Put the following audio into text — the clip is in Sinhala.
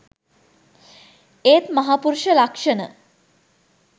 ඒත් මහා පුරුෂ ලක්ෂණ